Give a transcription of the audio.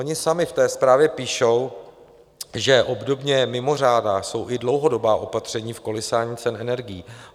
Oni sami v té zprávě píšou, že obdobně mimořádná jsou i dlouhodobá opatření v kolísání cen energií.